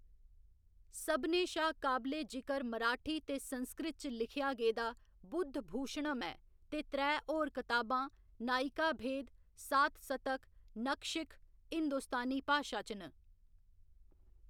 सभनें शा काबले जिकर मराठी ते संस्कृत च लिखेआ गेदा बुद्धभूशणम् ऐ ते त्रै होर कताबां, नायिकाभेद, सातसतक, नखशिख हिंदुस्तानी भाशा च न।